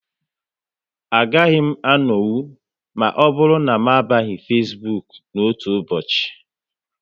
A gaghị m anonwu ma ọbụrụ na m abaghị Facebook n'otu ụbọchị